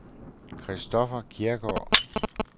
Christoffer Kjærgaard